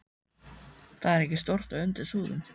Það var ekki stórt og undir súðum.